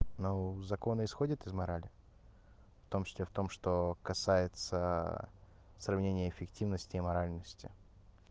ну закон исходит из морали вом числе в том что касается сравнение эффективности и моральности